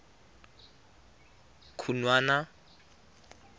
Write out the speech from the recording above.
khunwana